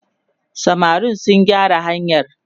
samarin su gyara hanyar!